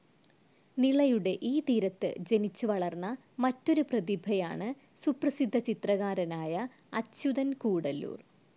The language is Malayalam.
നിളയുടെ ഈ തീരത്തു ജനിച്ചുവളർന്ന മറ്റൊരു പ്രതിഭയാണ് സുപ്രസിദ്ധ ചിത്രകാരനായ അച്യുതൻ കൂടല്ലൂർ.